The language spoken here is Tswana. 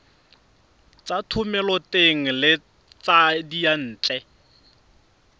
tsa thomeloteng le tsa diyantle